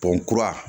kura